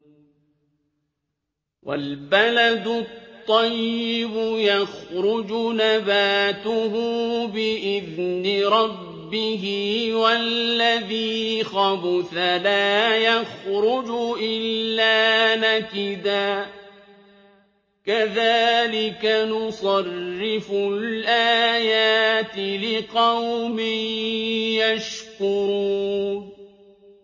وَالْبَلَدُ الطَّيِّبُ يَخْرُجُ نَبَاتُهُ بِإِذْنِ رَبِّهِ ۖ وَالَّذِي خَبُثَ لَا يَخْرُجُ إِلَّا نَكِدًا ۚ كَذَٰلِكَ نُصَرِّفُ الْآيَاتِ لِقَوْمٍ يَشْكُرُونَ